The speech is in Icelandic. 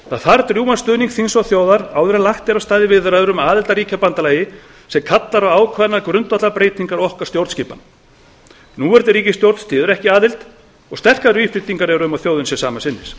það þarf drjúgan stuðning þings og þjóðar áður en lagt er af stað í viðræður um aðild að ríkjabandalagi sem kallar á ákveðnar grundvallarbreytingar á stjórnskipan okkar núverandi ríkisstjórn styður ekki aðild og sterkar vísbendingar eru um að þjóðin sé sama sinnis